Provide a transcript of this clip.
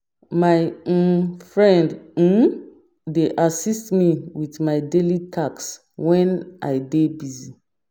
My um friend um dey assist me with my daily tasks when I dey busy.